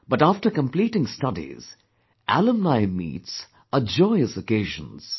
But after completing studies, Alumni Meets are joyous occasions